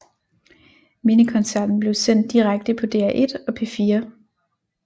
Mindekoncerten blev sendt direkte på DR1 og P4